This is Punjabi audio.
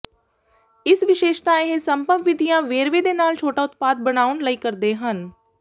ਇਸ ਵਿਸ਼ੇਸ਼ਤਾ ਇਹ ਸੰਭਵ ਵਧੀਆ ਵੇਰਵੇ ਦੇ ਨਾਲ ਛੋਟਾ ਉਤਪਾਦ ਬਣਾਉਣ ਲਈ ਕਰਦੇ ਹਨ